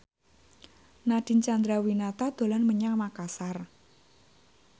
Nadine Chandrawinata dolan menyang Makasar